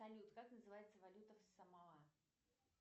салют как называется валюта в самоа